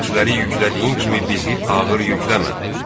Bizdən əvvəlkilərə yüklədiyin kimi bizi ağır yükləmə.